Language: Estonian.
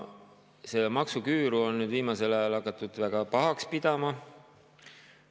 Seda maksuküüru on viimasel ajal hakatud väga pahaks pidama.